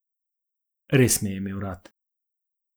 Res me je imel rad.